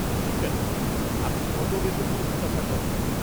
-ঠিক আছে, আপনি কত বেতন প্রত্যাশা করেন?